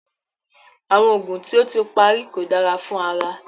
Awọn oogun ti o ti pari ko dara fun ara